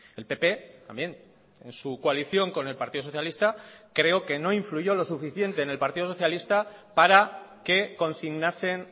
el pp también en su coalición con el partido socialista creo que no influyó lo suficiente en el partido socialista para que consignasen